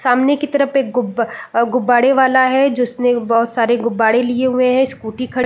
सामने की तरफ एक गुब गुब्बारे वाला है जिसने एक बहुत सारे गुब्बारे लिए हुए है स्कूटी खड़ी --